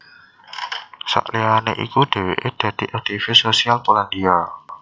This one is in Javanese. Sakliyané iku dhèwèké dadi aktivis sosial Polandia